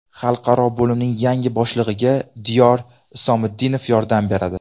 Xalqaro bo‘limning yangi boshlig‘iga Diyor Isomiddinov yordam beradi.